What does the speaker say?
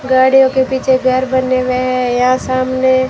गाड़ियों के पीछे घर बने हुए हैं। यहां सामने--